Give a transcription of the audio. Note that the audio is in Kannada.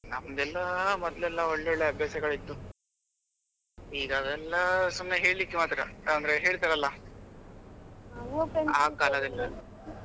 ನಮ್ದೇಲ್ಲ ಮೊದಲೆಲ್ಲ ಒಳ್ಳೆ ಅಭ್ಯಾಸಗಳು ಇತ್ತು ಈಗ ಅವೆಲ್ಲ ಸುಮ್ನೆ ಹೇಳ್ಲಿಕ್ಕೆ ಮಾತ್ರ ಅಂದ್ರೆ ಹೇಳ್ತಾರಲ್ಲ ಆ ಕಾಲದಲ್ಲಿ.